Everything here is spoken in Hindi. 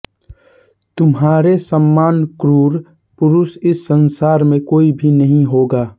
तुम्हारे समान क्रूर पुरुष इस संसार में कोई भी नहीं होगा